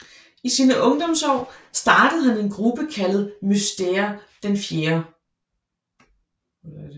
I sine ungdomsår startede han en gruppe kaldet Mystère IV